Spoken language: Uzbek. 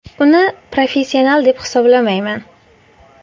Uni professional deb hisoblamayman.